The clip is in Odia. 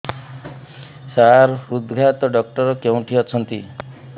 ସାର ହୃଦଘାତ ଡକ୍ଟର କେଉଁଠି ଅଛନ୍ତି